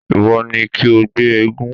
Ìwọ ni kí o gbé eégún!